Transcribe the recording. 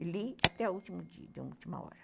e li até o último dia, na última hora.